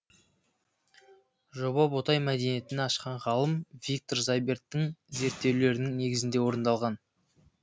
жоба ботай мәдениетін ашқан ғалым виктор зайберттің зерттеулерінің негізінде орындалған